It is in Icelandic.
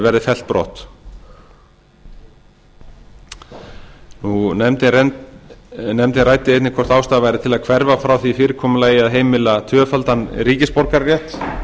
verði fellt brott nefndin ræddi einnig hvort ástæða væri til að hverfa frá því fyrirkomulagi að heimila tvöfaldan ríkisborgararétt